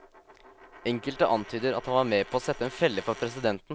Enkelte antyder at han var med på å sette en felle for presidenten.